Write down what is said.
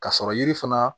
Ka sɔrɔ yiri fana